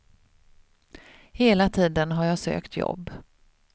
Hela tiden har jag sökt jobb.